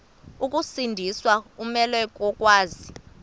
ukusindiswa umelwe kokwazi